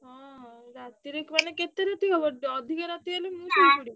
ହଁ ରାତିରେ ମାନେ କେତେ ରାତି ହବ ଅଧିକା ରାତି ହେଲେ ମୁଁ ଶୋଇପଡିବି